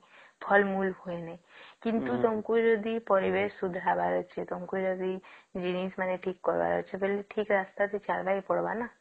ଫଳ ମୂଳ ହୁଏ ନାଇଁ କିନ୍ତୁ ତମକୁ ଯଦି ପରିବେଶ ସୁଧାରିବାର ଅଛି ତମକୁ ଯଦି ଜିନିଷ ମାନକେ ଠିକ କରିବର ଅଛି ଥଲେ ଠିକ ରାସ୍ତା ରେ ଚାଲିବାକେ ପଡିବ ନ